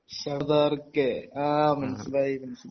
സർദാർ കെ ആഹ് മനസിലായി മനസിലായി